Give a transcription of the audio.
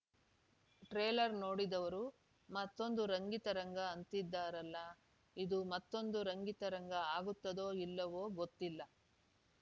trailer ನೋಡಿದವರು ಮತ್ತೊಂದು ರಂಗಿತರಂಗಅಂತಿದ್ದಾರಲ್ಲ ಇದು ಮತ್ತೊಂದು ರಂಗಿತರಂಗ ಆಗುತ್ತದೋ ಇಲ್ಲವೋ ಗೊತ್ತಿಲ್ಲ